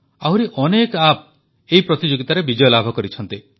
ଆହୁରି ଅନେକ ଆପ୍ ଏହି ପ୍ରତିଯୋଗିତାରେ ବିଜୟ ଲାଭ କରିଛନ୍ତି